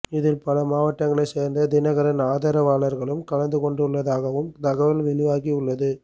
இதில் பல மாவட்டங்களைச் சேர்ந்த தினகரன் ஆதரவாளர்களும் கலந்துகொண்டுள்ளதாகவும் தகவல் வெளியாகியுள்ளது